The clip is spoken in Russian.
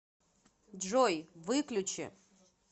джой выключи